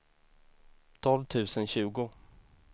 tolv tusen tjugo